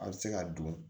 A bɛ se ka don